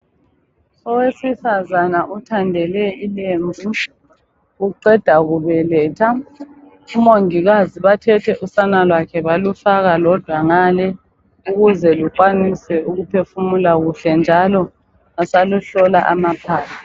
Owesifazana othandele ilembu uqenda kubeletha omongilazi bathe the usala lwakhe balufaka kodwa ngale ukuze lukwanise ukuphefumula kuhle njalo basaluhlola amaphaphu